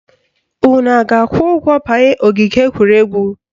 Unu a ga-akwụ ụgwọ banye ogige egwuregwu?